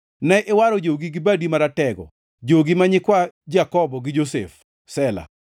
Ne iwaro jogi gi badi maratego, jogi ma nyikwa Jakobo gi Josef. Sela